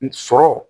N sɔrɔ